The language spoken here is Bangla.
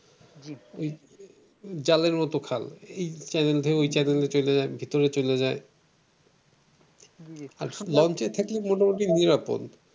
জালের মত খাল ক্যানেল দিয়ে ওই ক্যানেল চলে যায় ভিতর দিয়ে চলে যায় লঞ্চে থাকলে মোটামুটি নিরাপদ।